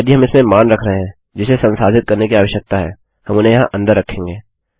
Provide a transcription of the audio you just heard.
यदि हम इसमें मान रख रहे हैं जिसे संसाधित करने की आवश्यकता है हम उन्हें यहाँ अन्दर रखेंगे